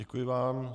Děkuji vám.